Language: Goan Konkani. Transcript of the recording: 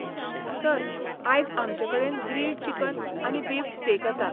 सर, आयज आमचेकडेन ग्रिल्ड चिकन आनी बीफ स्टेक आसा.